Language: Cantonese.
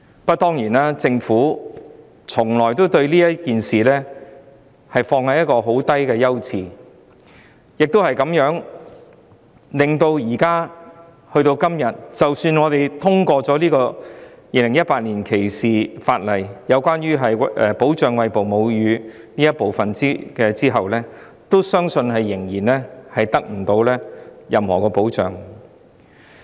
不過，政府把這事宜放在一個十分低的優次，以致今天即使我們通過《條例草案》中有關保障餵哺母乳婦女的修訂，相信餵哺母乳的婦女仍然得不到任何保障。